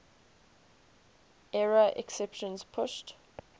error exceptions pushed